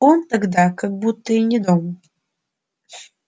он тогда как будто и не дом